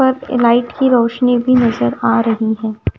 पर लाइट की रोशनी भी नजर आ रही है।